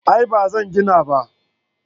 A'a ba zan gina ba